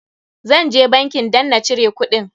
Zan je bankin dan na cire kuɗin.